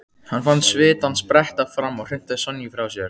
Hann fann svitann spretta fram og hrinti Sonju frá sér.